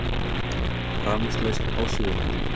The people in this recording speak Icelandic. Rafmagnslaust á Suðurlandi